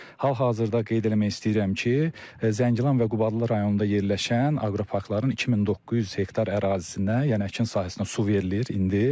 Hal-hazırda qeyd eləmək istəyirəm ki, Zəngilan və Qubadlı rayonunda yerləşən aqroparkların 2900 hektar ərazisinə, yəni əkin sahəsinə su verilir indi.